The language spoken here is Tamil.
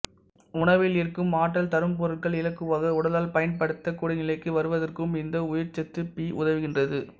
உணவில் இருக்கும் ஆற்றல் தரும் பொருட்கள் இலகுவாக உடலால் பயன்படுத்தக் கூடிய நிலைக்கு வருவதற்கும் இந்த உயிரிச்சத்து பி உதவுகின்றது